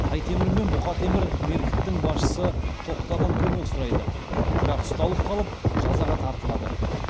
тай темір мен бұқа темір меркіттің басшысы тоқтадан көмек сұрайды бірақ ұсталып қалып жазаға тартылады